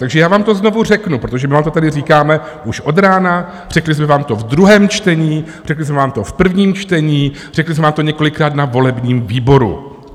Takže já vám to znovu řeknu, protože my vám to tady říkáme už od rána, řekli jsme vám to ve druhém čtení, řekli jsme vám to v prvním čtení, řekli jsme vám to několikrát na volebním výboru.